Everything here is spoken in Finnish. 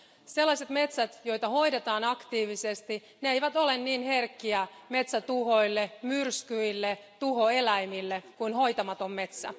Sellaiset metsät, joita hoidetaan aktiivisesti, eivät ole niin herkkiä metsätuhoille, myrskyille ja tuhoeläimille kuin hoitamaton metsä.